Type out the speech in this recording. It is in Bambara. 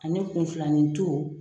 Ani kunflanintu.